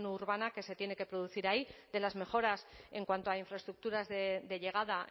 urbana que se tiene que producir ahí de las mejoras en cuanto a infraestructuras de llegada